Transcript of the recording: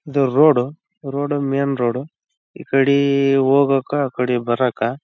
ಇದು road road main road ಈ ಕಡಿ ಹೋಗಕ್ಕ ಈ ಕಡಿ ಬರಕ್ಕ.